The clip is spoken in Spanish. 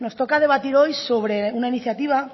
nos toca debatir hoy sobre una iniciativa